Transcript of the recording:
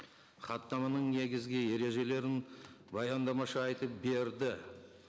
хаттаманың негізгі ережелерін баяндамашы айтып берді